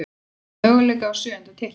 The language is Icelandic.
Eiga möguleika á sjöunda titlinum